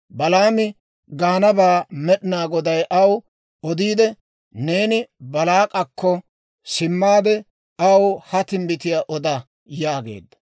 Balaami gaanabaa Med'inaa Goday aw odiidde, «Neeni Baalaak'akko simmaade, aw ha timbbitiyaa oda» yaageedda.